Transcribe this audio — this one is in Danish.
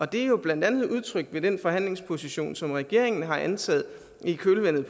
det er jo blandt andet udtrykt ved den forhandlingsposition som regeringen har indtaget i kølvandet